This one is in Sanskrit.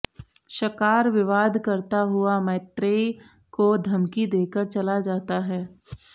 शकार विवाद करता हुआ मैत्रेय को धमकी देकर चला जाता है